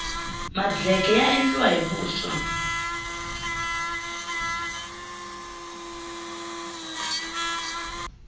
madleke ya endliwa hi vuswa